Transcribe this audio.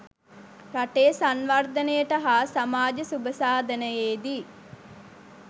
රටේ සංවර්ධනයට හා සමාජ සුභසාධනයේදී